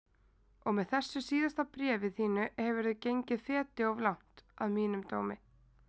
Og með þessu síðasta bréfi þínu hefurðu gengið feti of langt, að mínum dómi.